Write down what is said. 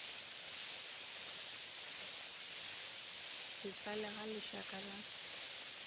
se tlale ga lešaka la